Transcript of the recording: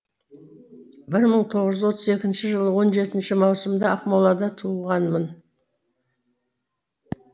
бір мың тоғыз жүз отыз екінші жылы он жетінші маусымда ақмолада туылғанмын